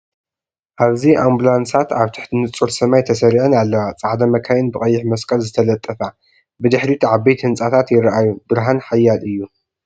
ኣብዚ ኣምቡላንሳት ኣብ ትሕቲ ንጹር ሰማይ ተሰሪዐን ኣለዋ፣ ጻዕዳ መካይን ብቀይሕ መስቀል ዝተለጠፋ። ብድሕሪት ዓበይቲ ህንጻታት ይረኣዩ፣ ብርሃን ሓያል እዩ።